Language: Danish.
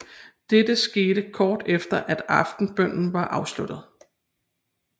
Dette skete kort efter at aftenbønnen var afsluttet